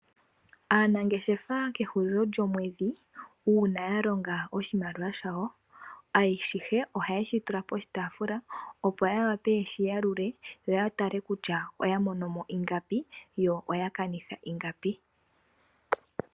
Aanangeshefa kehulilo lyomwedhi uuna ya longa oshimaliwa shawo, ashihe ohaye shi tula poshitaafula opo ya wape yeshi yalule, yo ya mone kutya oya mono mo ingapi, yo oya kanitha ingapi.